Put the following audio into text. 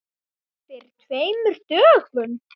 Fyrir tveimur dögum?